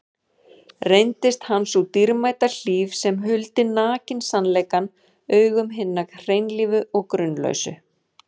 Reyndist hann sú dýrmæta hlíf sem huldi nakinn sannleikann augum hinna hreinlífu og grunlausu.